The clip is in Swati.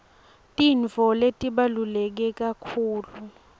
tintfo letibaluleke kakhulu